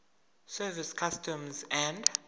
service customs and